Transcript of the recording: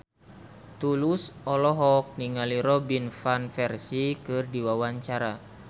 Tulus olohok ningali Robin Van Persie keur diwawancara